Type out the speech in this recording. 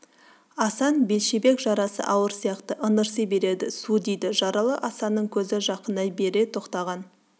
асан бәлшебек жарасы ауыр сияқты ыңырси береді су дейді жаралы асанның көзі жақындай бере тоқтаған